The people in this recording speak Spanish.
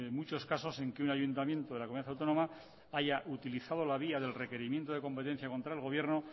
muchos casos en que un ayuntamiento de la comunidad autónoma haya utilizado la vía del requerimiento de competencia contra el gobierno